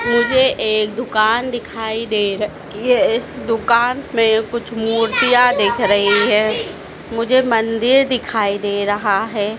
मुझे एक दुकान दिखाई दे राखी है दुकान में कुछ मूर्तियां दिख रही हैं मुझे मंदिर दिखाई दे रहा है।